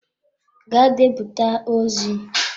Gaa deputa ozi!